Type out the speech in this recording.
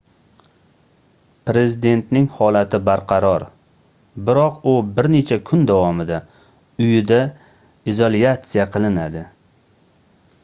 prezidentning holati barqaror biroq u bir necha kun davomida uyida isolyatsiya qilinadi